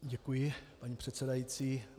Děkuji, paní předsedající.